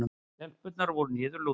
Stelpurnar voru niðurlútar.